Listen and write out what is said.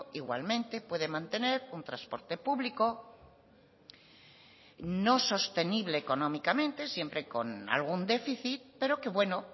igualmente puede mantener un transporte público no sostenible económicamente siempre con algún déficit pero que bueno